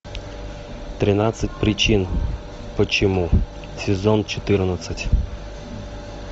тринадцать причин почему сезон четырнадцать